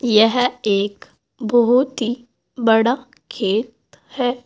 यह एक बहोत ही बड़ा खेत है।